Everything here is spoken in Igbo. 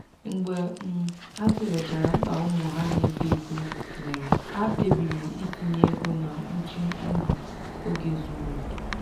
mgbe um ha tụlechara mkpa ụmụ ha na-eto eto nwere ha kpebiri itinye ego na mkpuchi ndụ oge zuru oke.